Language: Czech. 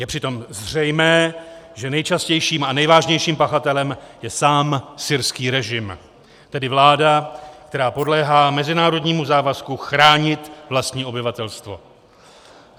Je přitom zřejmé, že nejčastějším a nejvážnějším pachatelem je sám syrský režim, tedy vláda, která podléhá mezinárodnímu závazku chránit vlastní obyvatelstvo.